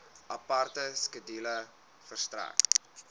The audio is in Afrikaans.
aparte skedule verstrek